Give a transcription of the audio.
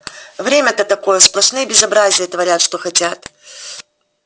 время-то такое сплошные безобразия творят что хотят